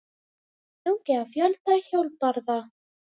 Stungið á fjölda hjólbarða